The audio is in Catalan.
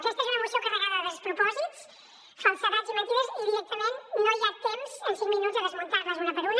aquesta és una moció carregada de despropòsits falsedats i mentides i directament no hi ha temps en cinc minuts de desmuntar les una per una